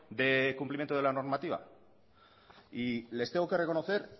del cumplimiento de la normativa y les tengo que reconocer